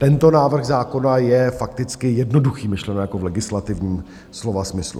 Tento návrh zákona je fakticky jednoduchý, myšleno jako v legislativním slova smyslu.